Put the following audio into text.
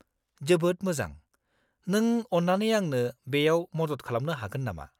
-जोबोद मोजां! नों अन्नानै आंनो बेयाव मदद खालामनो हागोन नामा?